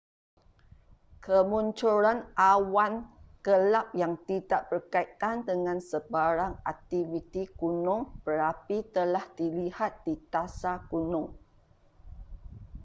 kemunculan awan gelap yang tidak berkaitan dengan sebarang aktiviti gunung berapi telah dilihat di dasar gunung